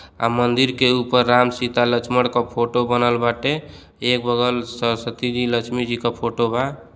आ मंदिर के ऊपर राम सीता लक्ष्मण क फोटो बनल बाटे। एक बगल सरस्वती जी लक्ष्मी जी का फोटो बा।